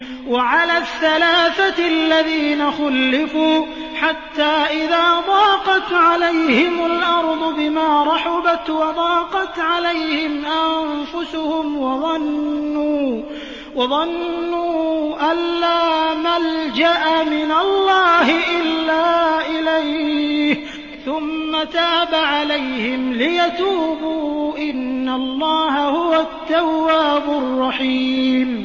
وَعَلَى الثَّلَاثَةِ الَّذِينَ خُلِّفُوا حَتَّىٰ إِذَا ضَاقَتْ عَلَيْهِمُ الْأَرْضُ بِمَا رَحُبَتْ وَضَاقَتْ عَلَيْهِمْ أَنفُسُهُمْ وَظَنُّوا أَن لَّا مَلْجَأَ مِنَ اللَّهِ إِلَّا إِلَيْهِ ثُمَّ تَابَ عَلَيْهِمْ لِيَتُوبُوا ۚ إِنَّ اللَّهَ هُوَ التَّوَّابُ الرَّحِيمُ